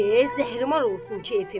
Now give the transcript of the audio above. E, zəhrimar olsun kefim!